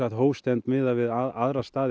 hófstilltir miðað við annars staðar í